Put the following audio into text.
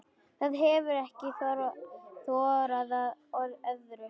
Það hefir ekki þorað öðru.